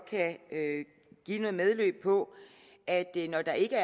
kan give noget medløb på at når der ikke